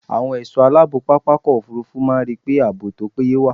Àwọn ẹ̀ṣọ́ aláàbò pápákọ̀ òfurufú máa ń ríi pé ààbò tó péye wà.